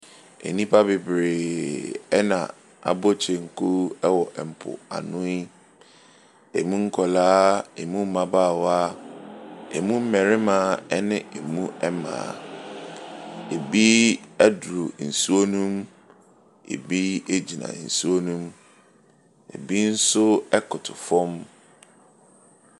Nnipa bebree ɛna abɔ kyenku wɔ mpoano yi. Emu nkwaraa, emu mmabaawa, emu mmarima ne emu mmaa. Ebi aduru nsuo no mu. Ebi egyina nsuo no mu. Ebi nso ɛkoto fam.